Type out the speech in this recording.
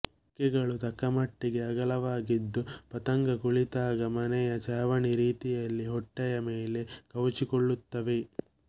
ರೆಕ್ಕೆಗಳು ತಕ್ಕಮಟ್ಟಿಗೆ ಅಗಲವಾಗಿದ್ದು ಪತಂಗ ಕುಳಿತಾಗ ಮನೆಯ ಛಾವಣಿ ರೀತಿಯಲ್ಲಿ ಹೊಟ್ಟೆಯ ಮೇಲೆ ಕವುಚಿಕೊಳ್ಳುತ್ತವೆ